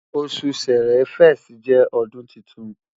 osu Ṣẹrẹ 1st jẹ ọdun titun